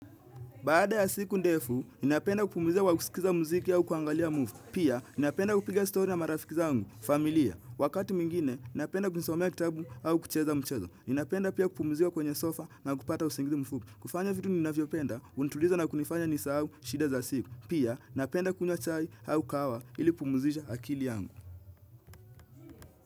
Baada ya siku ndefu, ninapenda kupumuzika kwa kusikiza muziki au kuangalia movie. Pia, ninapenda kupiga story na marafiki zangu, familia. Wakati mingine, ninapenda kujisomea kitabu au kucheza mchezo. Ninapenda pia kupumizika kwenye sofa na kupata usingizi mfupi. Kufanya vitu ninavyopenda, hunituliza na kunifanya nisahau shida za siku. Pia, ninapenda kunywa chai au kahawa ili kupumizisha akili yangu.